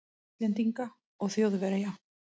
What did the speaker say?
Íslendinga og Þjóðverja.